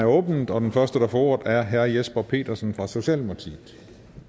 åbnet og den første der får ordet er herre jesper petersen fra socialdemokratiet